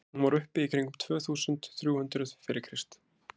hún var uppi í kringum tvö þúsund þrjú hundruð fyrir krist